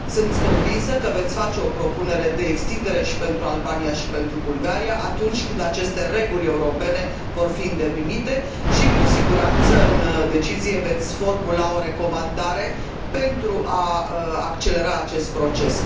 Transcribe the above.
Sunt convinsă că veți face o propunere de extindere și pentru Albania, și pentru Bulgaria, atunci când aceste reguli europene vor fi îndeplinite și, cu siguranță, în decizie veți formula o recomandare pentru a accelera acest proces.